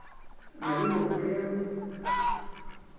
na le mekgwa ya go